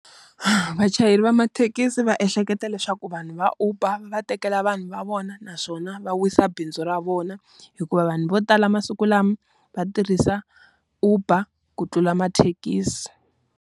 vachayeri va mathekisi va ehleketa leswaku vanhu va Uber va va tekela vanhu va vona naswona va wisa bindzu ra vona. Hikuva vanhu vo tala masiku lama va tirhisa Uber ku tlula mathekisi.